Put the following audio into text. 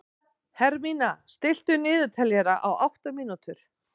Hermína, stilltu niðurteljara á átta mínútur.